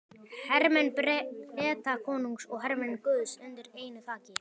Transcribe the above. Hermenn Bretakonungs og hermenn guðs undir einu þaki.